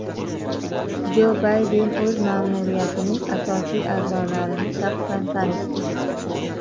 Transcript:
Jo Bayden o‘z ma’muriyatining asosiy a’zolarini shaxsan tanishtirdi.